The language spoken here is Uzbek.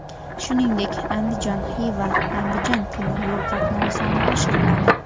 Shuningdek, Andijon–Xiva–Andijon temir yo‘l qatnovi soni oshiriladi.